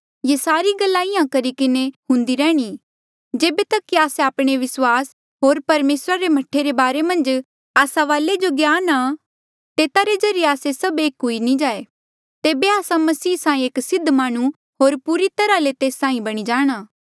ये सारी गल्ला इंहां करी किन्हें हुंदी रैहणी जेबे तक कि आस्से आपणे विस्वास होर परमेसरा रे मह्ठे रे बारे मन्झ आस्सा वाले जो ज्ञान आ तेता रे ज्रीए आस्से सभ एक नी हुई जाए तेबे आस्सा मसीह साहीं एक सिद्ध माह्णुं होर पूरी तरहा ले तेस साहीं बणी जाणा